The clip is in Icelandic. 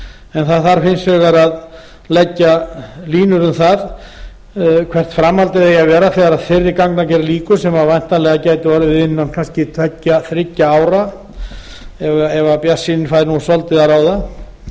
en það þarf hins vegar að leggja línur um það hvert framhaldið eigi að vera þegar þeirri gangagerð lýkur sem væntanlega gæti orðið innan kannski tveggja þriggja ára ef bjartsýnin fær nú svolítið að ráða